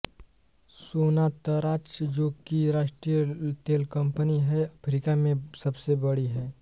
Sonatrach जो कि राष्ट्रीय तेलकंपनी है अफ्रीका में सबसे बड़ी है